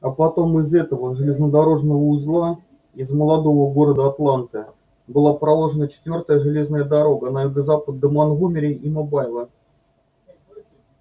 а потом из этого железнодорожного узла из молодого города атланты была проложена четвёртая железная дорога на юго-запад до монтгомери и мобайла